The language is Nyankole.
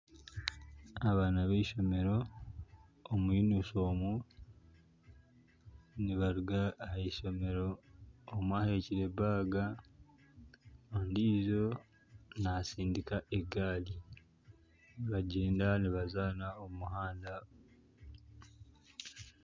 Abaana b'eishomero omu yunifoomu nibaruga ahaishomero omwe ahekire baaga, endiijo naatsindika egaari nibagyenda nibazaana omu muhanda